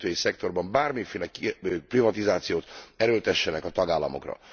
kikötői szektorban bármiféle privatizációt erőltessenek a tagállamokra.